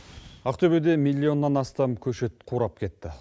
ақтөбеде миллионнан астам көшет қурап кетті